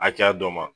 Hakɛya dɔ ma